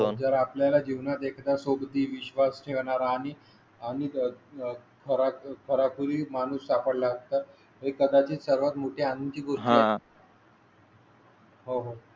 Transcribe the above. ही विश्वास ठेवणार आणि आणि खरा खरा कळी माणूस सापडला असता. कदाचित सर्वात मोठी आणि. गुन्हा. होय होय आहेत.